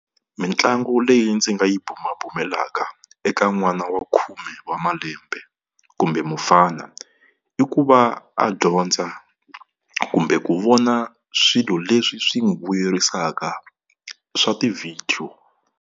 Mitlangu leyi ndzi nga yi bumabumelaka eka n'wana wa khume wa malembe kumbe mufana, i ku va a dyondza kumbe ku vona swilo leswi swi n'wi vuyerisaka swa tivhidiyo.